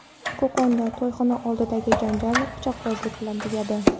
Qo‘qonda to‘yxona oldidagi janjal pichoqbozlik bilan tugadi.